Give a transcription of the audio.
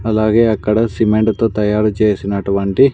అలాగే అక్కడ సిమెంట్ తో తయారు చేసినటువంటి.